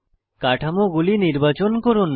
কাঠামোগুলি নির্বাচন করুন